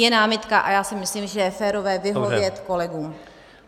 Je námitka a já si myslím, že je férové vyhovět kolegům.